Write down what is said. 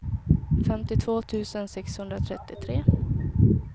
femtiotvå tusen sexhundratrettiotre